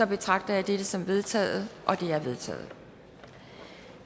betragter jeg dette som vedtaget vedtaget